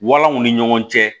Walanw ni ɲɔgɔn cɛ